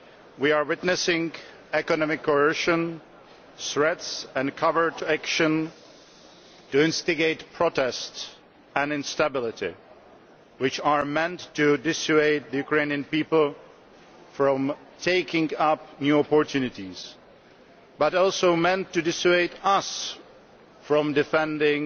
We are witnessing economic coercion, threats and covert action to instigate protest and instability, which are meant not only to dissuade the Ukranian people from taking up new opportunities but also to dissuade us from defending